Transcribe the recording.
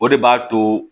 O de b'a to